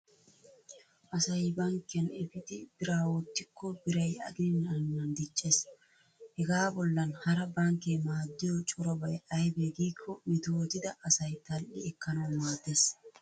Asay bankkiyan efidi biraa wottikko biray aginan aginan diccees. Hegaa bollan hara bankkee maaddiyo corabay aybee giikko metootida asay tal"i ekkanawu maaddees.